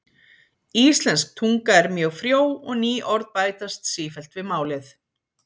íslensk tunga er mjög frjó og ný orð bætast sífellt við málið